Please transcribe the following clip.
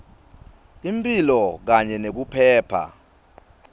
imphilo kanye nekuphepha